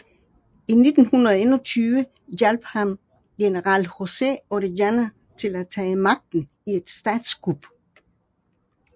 I 1921 hjalp han general José Orellana til at tage magten i et statskup